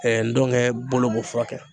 ndɔnkɛ bolo bɛ fura kɛ.